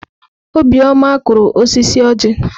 Obioma kụrụ osisi ọjị.